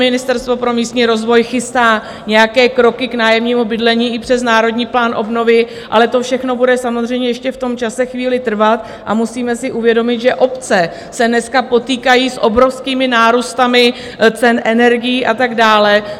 Ministerstvo pro místní rozvoj chystá nějaké kroky k nájemnímu bydlení i přes Národní plán obnovy, ale to všechno bude samozřejmě ještě v tom čase chvíli trvat a musíme si uvědomit, že obce se dneska potýkají s obrovským nárůstem cen energií a tak dále.